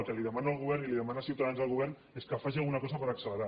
el que li demano al govern i li demana ciutadans al govern és que faci alguna cosa per accelerar